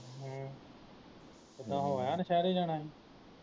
ਹਮ ਕਿੱਦਾਂ ਹੋ ਆਇਆ ਨੁਸ਼ਹਿਰੇ ਜਾਣਾ ਹੀ